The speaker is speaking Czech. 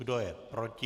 Kdo je proti?